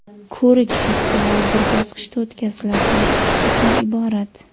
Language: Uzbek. Ko‘rik-festival bir bosqichda o‘tkaziladi va ikki turdan iborat.